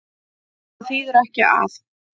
Það þýðir ekki að.